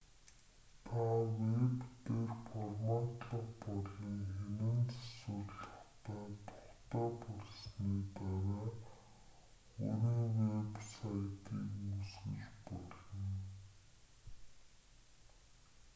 та вэб дээр форматлах болон хянан засварлахдаа тухтай болсны дараа өөрийн вэб сайтыг үүсгэж болно